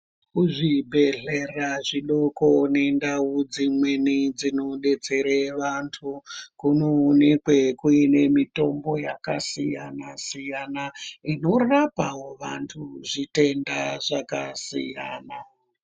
Kuzvibhedhlera zvidoko nendau dzimweni dzinodetsere vantu, kunoonekwe kuine mitombo yakasiyana-siyana, inorapawo vantu zvitenda zvakasiyana.